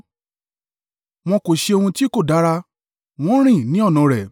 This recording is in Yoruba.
Wọn kò ṣe ohun tí kò dára; wọ́n rìn ní ọ̀nà rẹ̀.